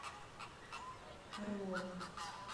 орлова